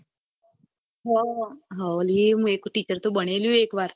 હા હવલી મુ ઈ ટીચર તો બનેલી એક વાર